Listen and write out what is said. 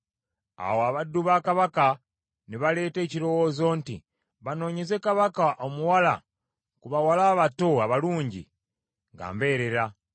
Awo abaddu ba Kabaka ne baleeta ekirowoozo nti, “Banoonyeze Kabaka omuwala ku bawala abato abalungi nga mbeerera.